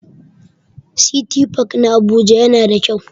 City park na Abuja yana da kyau.